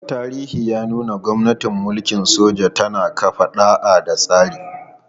Tarihi ya nuna cewa gwamnatin mulkin soja tana kafa ɗa'a da tsari.